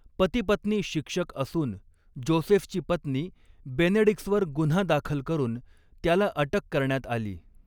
पतीपत्नी शिक्षक असून जोसेफची पत्नी बेनेडिक्सवर गुन्हा दाखल करून त्याला अटक करण्यात आली.